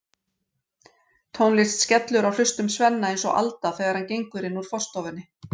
Tónlist skellur á hlustum Svenna eins og alda þegar hann gengur inn úr forstofunni.